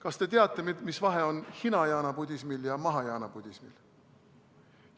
Kas te teate, mis vahe on hinajaana budismil ja mahajaana budismil?